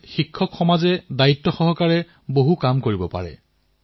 ইয়াত শিক্ষকসকলৰ ভূমিকাও গুৰুত্বপূৰ্ণ হব